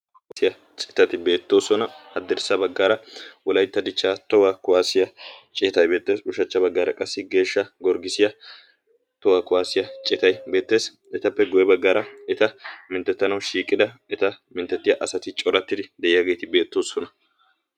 Kuwasiyaa citati beettoosona haddirssa baggaara wolaytta dichchaa tohuwaa kuwaasiyaa citay beettesi ushachcha baggaara qassi geeshsha gorggisiyaa tohwaa kuwaasiyaa citay beettees etappe goye baggaara eta minttettanawu shiiqida eta minttettiya asati corattidi de'iyaageeti beettoosona